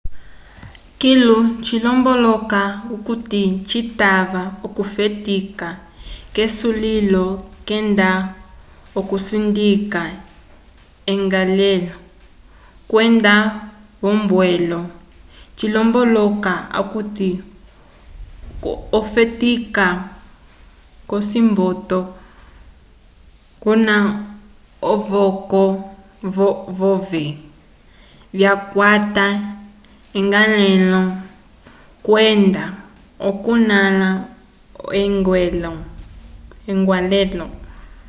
kilu cilomboloka okuti citava okufetika k’esulilo kenda okusindika eñgwalelo kwenda v’ombwelo cilomboloka okuti ofetika k’ocimboto kuna ovoko vove vyakwata eñgwalehelo kwenda okunãla eñgwalelo